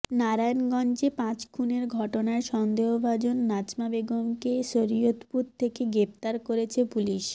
নারায়ণগঞ্জে পাঁচ খুনের ঘটনায় সন্দেহভাজন নাজমা বেগমকে শরীয়তপুর থেকে গ্রেপ্তার করেছে পুলিশ